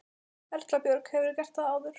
Erla Björg: Hefurðu gert það áður?